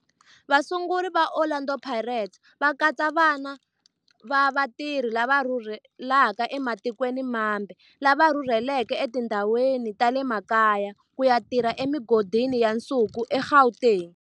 Vasunguri va Orlando Pirates va katsa vana va vatirhi lava rhurhelaka ematikweni mambe lava rhurheleke etindhawini ta le makaya ku ya tirha emigodini ya nsuku eGauteng.